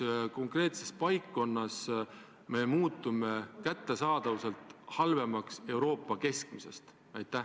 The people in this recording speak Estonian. Millises konkreetses paikkonnas me muutume kättesaadavuselt Euroopa keskmisest halvemaks?